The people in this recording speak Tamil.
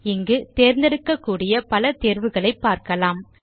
இங்கு தேர்ந்தெடுக்கக்கூடிய பல தேர்வுகளை பாருங்கள்